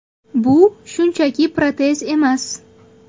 Bu shunchaki protez emas.